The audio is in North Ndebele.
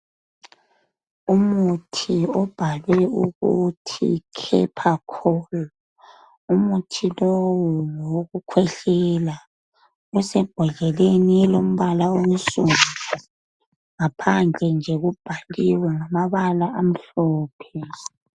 Umuthi obhalwe ukuthi Khephakholu. Umuthi lowu ngowokukhwehlela. Usembodleleni elombala onsundu. Ngaphandle nje kubhaliwe ngamabala amhlophe.